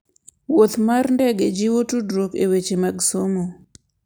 Wuoth mar ndege jiwo tudruok e weche mag somo.